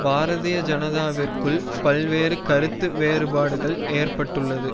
பாரதீய ஜனதாவிற்குள் பல்வேறு கருத்து வேறுபாடுகள் ஏற்பட்டுள்ளது